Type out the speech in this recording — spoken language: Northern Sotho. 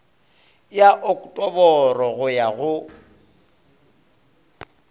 ya oktoboro go ya go